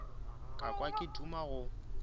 ka kwa ke duma go